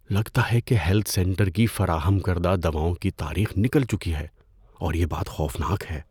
لگتا ہے کہ ہیلتھ سینٹر کی فراہم کردہ دواؤں کی تاریخ نکل چکی ہے اور یہ بات خوفناک ہے۔